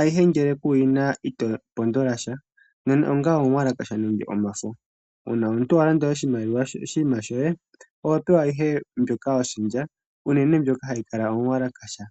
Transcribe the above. ayihe ngele ku yi na, ito pondola sha. Nande ongawo, omuwalakasha nenge omafo, uuna omuntu wa landa oshinima shoye, oho pewa ihe mbyoka wa shendja, unene mbyoka ha yi kala yomuwalakasha.